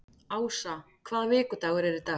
Ása, hvaða vikudagur er í dag?